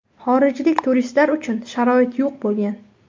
Xorijlik turistlar uchun sharoit yo‘q bo‘lgan.